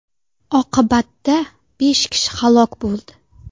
Oqibatda besh kishi halok bo‘ldi.